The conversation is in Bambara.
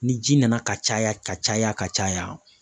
Ni ji nana ka caya ka caya ka caya